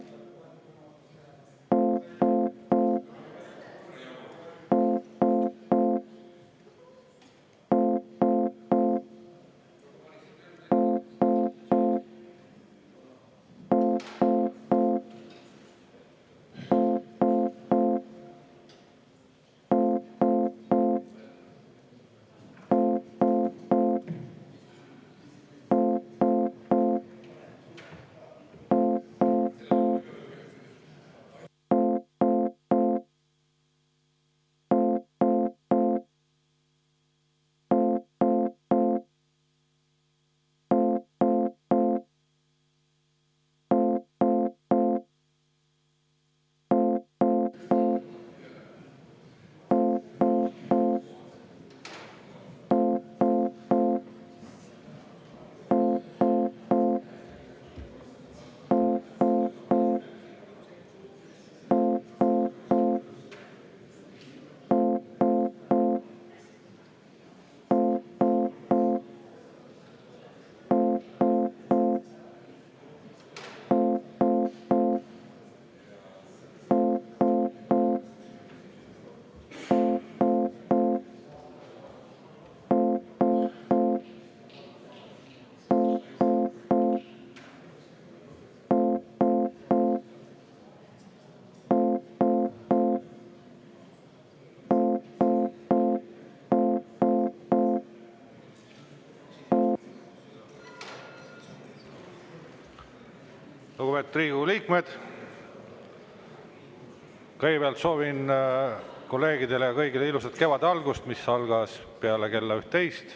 Lugupeetud Riigikogu liikmed, kõigepealt soovin kolleegidele ja kõigile ilusat kevade algust, kevad algas peale kella 11.